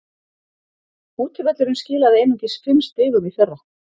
Útivöllurinn skilaði einungis fimm stigum í fyrra.